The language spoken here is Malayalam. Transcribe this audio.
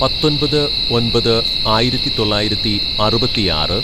"പത്തൊമ്പത് ഒന്‍പത് ആയിരത്തിതൊള്ളായിരത്തി അറുപത്തിയാറ്‌